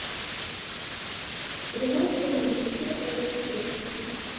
прямой эфир манчестера против манчестер сити